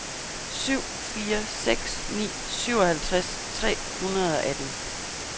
syv fire seks ni syvoghalvtreds tre hundrede og atten